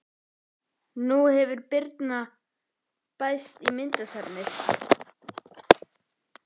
Nú hefur Birna bæst í myndasafnið.